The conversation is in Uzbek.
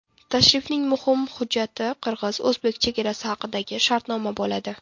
Tashrifning muhim hujjati qirg‘iz-o‘zbek chegarasi haqidagi shartnoma bo‘ladi.